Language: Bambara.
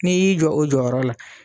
N'i y'i jɔ o jɔyɔrɔ la.